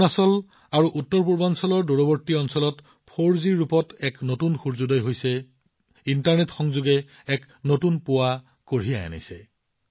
অৰুণাচল আৰু উত্তৰপূৰ্বাঞ্চলৰ দূৰৱৰ্তী অঞ্চলত ৪জিৰ ৰূপত এক নতুন সূৰ্যোদয় হৈছে ইণ্টাৰনেট সংযোগে এক নতুন পুৱা কঢ়িয়াই আনিছে